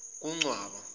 kuncwaba